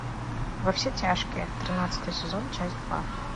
во все тяжкие тринадцатый сезон часть два